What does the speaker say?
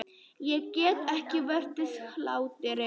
Ég get ekki varist hlátri.